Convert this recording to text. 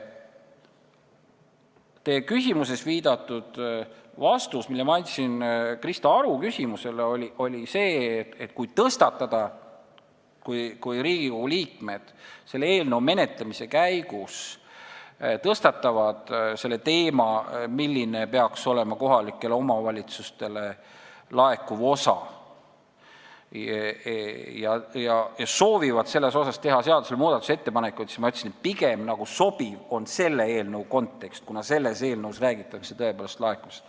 Teie viidatud vastus, mille ma andsin Krista Aru küsimusele, tähendas seda, et kui Riigikogu liikmed tõstatavad eelnõu menetlemise käigus teema, milline peaks olema kohalikele omavalitsustele laekuv osa, ja soovivad selle kohta muudatusettepanekuid teha, siis sobib pigem selle eelnõu kontekst, kuna selles eelnõus räägitakse tõepoolest laekumisest.